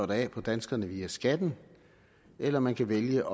det af på danskerne via skatten eller man kan vælge